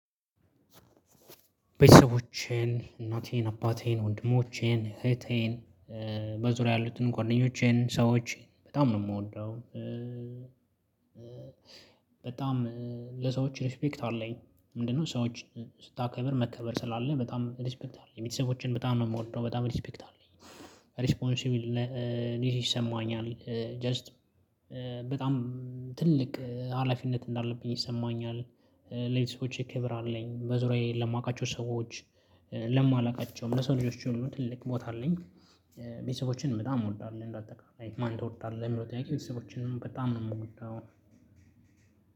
ቤተሰቦቼን እናቴን አባቴን ወንድሞቼን እህቴን በዙሪያ ያሉትን ጎንደኞቼን ሰዎች በጣም ነው ምወደው የምወደው። በጣም ለሰዎች ሪስፔክት አለኝ ምንድነው ሰዎች ስታከብር መከበር ስላለ በጣም ሪስፔክት አለ። ቤተሰቦቼን በጣም ነው የምወደው በጣም ሪስፔክት አለኝ። ሪስፖንሲብልነት ይሰማኛል ጀስት በጣም ትልቅ ሀላፊነት እንዳለብኝ ይሰማኛል። ሌላ ሰዎች ክብር አለኝ በዙሪያዬ ለማውቃቸው ሰዎች ለማላውቃቸው ለሰው ልጆች ሁሉ ትልቅ ቦታ አለኝ። ቤተሰቦችን በጣም እወዳለሁ። እንደአጠቃላይ ማን ትወድታለህ የሚለው ጥያቄ? ቤተሰቦቼን በጣም ነው የምወደው።